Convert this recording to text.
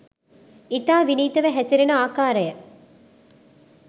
ඉතා විනීතව හැසිරෙන ආකාරය